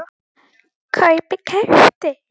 kaupi- keypti